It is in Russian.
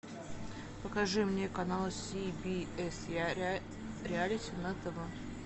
покажи мне канал си би эс реалити на тв